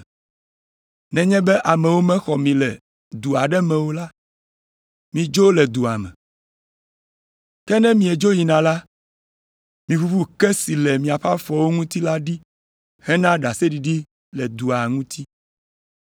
Nenye be amewo mexɔ mi le du aɖe me o la, midzo le dua me. Ke ne miedzo yina la, miʋuʋu ke si le miaƒe afɔwo ŋuti la ɖi hena ɖaseɖiɖi le dua ŋuti.